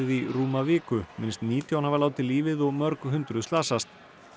í rúma viku minnst nítján hafa látið lífið og mörg hundruð slasast